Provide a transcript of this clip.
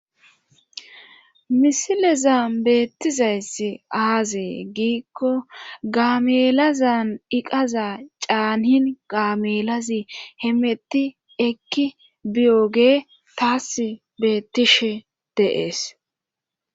Misilezan beettizayss aazee giikko gaamelazan iqaza caahin gaamelazi hemetti ekki biyogee taas beettishe deees